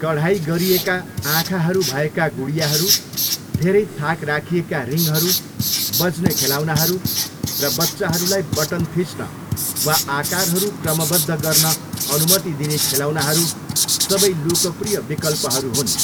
कढाई गरिएका आँखाहरू भएका गुडियाहरू, धेरै थाक राखिएका रिङहरू, बज्ने खेलौनाहरू, र बच्चाहरूलाई बटन थिच्न वा आकारहरू क्रमबद्ध गर्न अनुमति दिने खेलौनाहरू सबै लोकप्रिय विकल्पहरू हुन्।